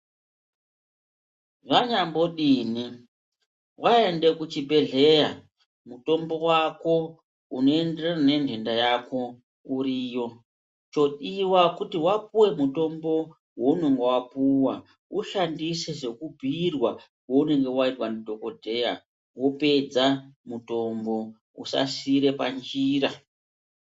Zvanyambodini waende kuchibhedhleya, mutombo wako unoenderana nendenda yako uriyo. Chodiwa kuti wapuwe mutombo waunenge wapiwa, ushandise sekubhuyirwa kounenge waitwa ndidhokodheya, wopedza mutombo usasiire panjira.